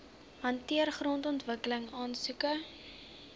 hanteer grondontwikkeling aansoeke